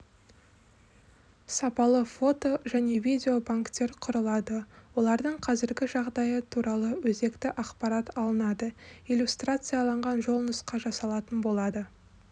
сапалы фото-және видеобанктер құрылады олардың қазіргі жағдайы туралы өзекті ақпарат алынады иллюстрацияланған жолнұсқа жасалатын болады